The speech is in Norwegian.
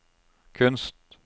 kunst